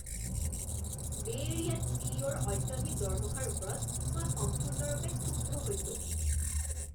বে' এৰিয়াত চিইঅ' ৰ অত্যধিক দৰমহাৰ ওপৰত মই সম্পূৰ্ণৰূপে ক্ষুব্ধ হৈছোঁ।